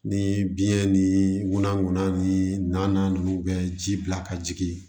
Ni biɲɛ ni munankunna ni na ninnu bɛ ji bila ka jigin